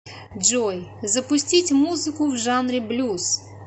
джой запустить музыку в жанре блюз